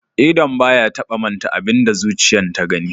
Idon ba ya taba manta da abin da zuciyan ta gani.